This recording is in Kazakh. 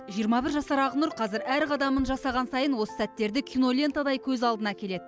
жиырма бір жасар ақнұр қазір әр қадамын жасаған сайын осы сәттерді кинолентадай көз алдына келеді